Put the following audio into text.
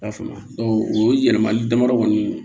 I y'a faamuya o yɛlɛmali damadɔ kɔni